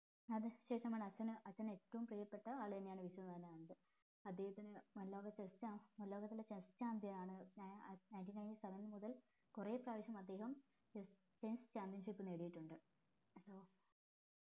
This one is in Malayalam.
അതിന് ശേഷമാണ് അച്ഛന് അച്ഛന് ഏറ്റവും പ്രിയപ്പെട്ട ആളെന്നാണ് വിശ്വനാഥൻ അനന്ത് അദ്ധേഹത്തിന് nineteen nineteen seven മുതൽ കൊറേ പ്രാവശ്യം അദ്ദേഹം chess championship നേടിയിട്ടുണ്ട്